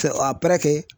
Fɛ a